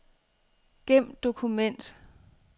Gem dokument.